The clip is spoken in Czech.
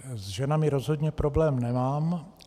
S ženami rozhodně problém nemám.